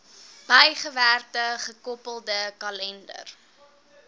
bygewerkte gekoppelde kalender